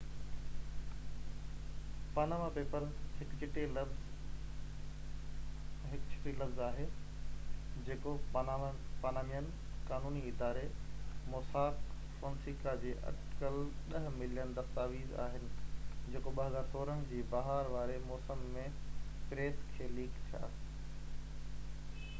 Panama papers هڪ ڇٽي لفظ آهي جيڪو پانامينين قانوني اداري موساڪ فونيسڪا جا اٽڪل ڏهہ ملين دستاويز آهن جيڪو 2016 جي بهار واري موسم ۾ پريس کي ليڪ ٿيا